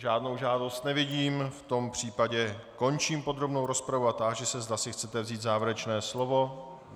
Žádnou žádost nevidím, v tom případě končím podrobnou rozpravu a táži se, zda si chcete vzít závěrečné slovo.